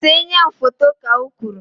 See enyi ahụ foto! Ka o kwuru